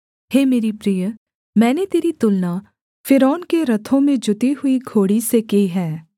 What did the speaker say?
हे मेरी प्रिय मैंने तेरी तुलना फ़िरौन के रथों में जुती हुई घोड़ी से की है